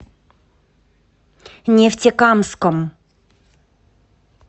нефтекамском